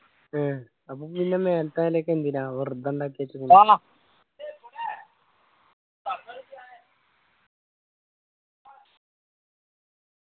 ഏർ അപ്പോ പിന്നെ മേലെത്തെ നിലയൊക്കെ എന്തിനാ വെറുതെ ഉണ്ടാക്കി വെച്ചുണ്